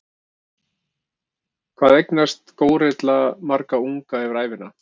Hvað eignast górilla marga unga yfir ævina?